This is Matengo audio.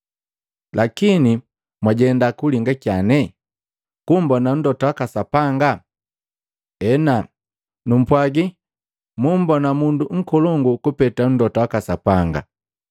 Lakini, mwajenda kulinga kyane? Kumbona mlota waka Sapanga? Ena, numpwagi mumbona mundu nkolongu kupeta mlota waka Sapanga.